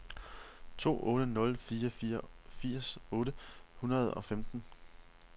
to otte nul fire firs otte hundrede og femten